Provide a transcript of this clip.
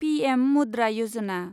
PM Mudra Yojana